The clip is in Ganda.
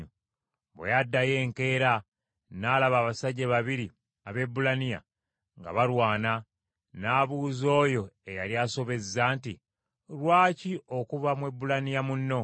Bwe yaddayo enkeera, n’alaba abasajja babiri Abaebbulaniya nga balwana. N’abuuza oyo eyali asobezza nti, “Lwaki okuba Mwebbulaniya munno?”